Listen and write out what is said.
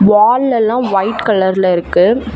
வாள்ள எல்லாம் ஒய்ட் கலர்ல இருக்கு.